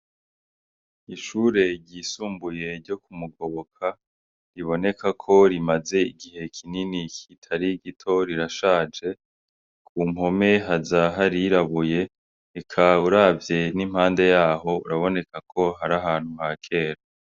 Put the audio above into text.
Ishure ryisumbuye ryo kumugoboka riboneka ko rimaze igihe kinini kitari gito rirashaje ,ku mpome haza harirabuye eka uravye n'impande yaho biraboneka ko ari ahantu ha kera.